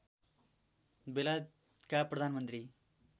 बेलायतका प्रधानमन्त्री